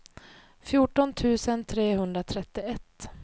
fjorton tusen trehundratrettioett